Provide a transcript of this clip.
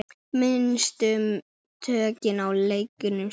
Misstu tökin á leiknum snemma.